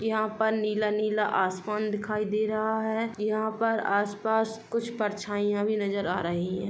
यहां पर नीला-नीला आसमान दिखाई दे रहा है। यहां पर आस-पास कुछ परछाइयां भी नजर आ रही हैं।